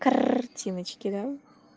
картиночки да